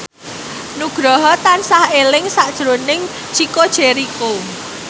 Nugroho tansah eling sakjroning Chico Jericho